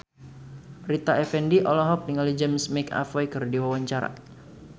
Rita Effendy olohok ningali James McAvoy keur diwawancara